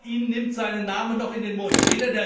Keiner von Ihnen nimmt seinen Namen noch in den Mund.